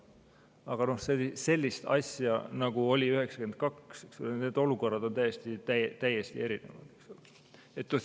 Aga sellist asja, nagu meil oli 1992 – need olukorrad on täiesti erinevad.